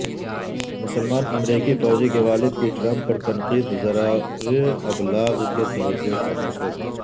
مسلمان امریکی فوجی کے والد کی ٹرمپ پر تنقید ذرائع ابلاغ کی توجہ کا مرکز